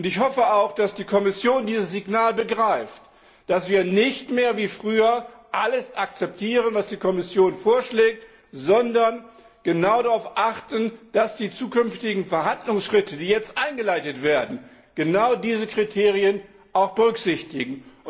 Ich hoffe auch, dass die Kommission dieses Signal begreift, dass wir nicht mehr wie früher alles akzeptieren, was die Kommission vorschlägt, sondern genau darauf achten, dass die zukünftigen Verhandlungsschritte, die jetzt eingeleitet werden, genau diese Kriterien auch berücksichtigen.